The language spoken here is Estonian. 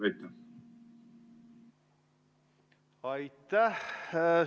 Aitäh!